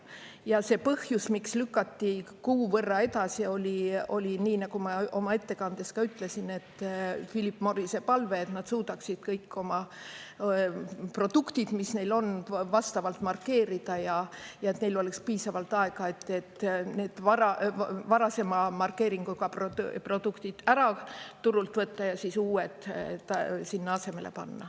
Ja see põhjus, miks lükati kuu võrra edasi, oli nii, nagu ma oma ettekandes ka ütlesin, et Philip Morrise palve, et nad suudaksid kõik oma produktid, mis neil on, vastavalt markeerida ja et neil oleks piisavalt aega, et need varasema markeeringuga produktid ära turult võtta ja uued sinna asemele panna.